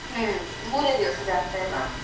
ಹ್ಮ್, ಮೂರೆ ದಿವ್ಸ ಜಾತ್ರೆ ಅಲ.